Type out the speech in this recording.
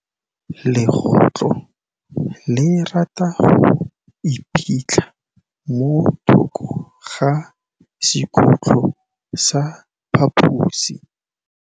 Legôtlô le rata go iphitlha mo thokô ga sekhutlo sa phaposi.